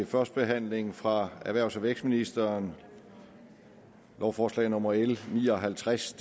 første behandling fra erhvervs og vækstministeren lovforslag nummer l ni og halvtreds